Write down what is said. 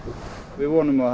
við vonum að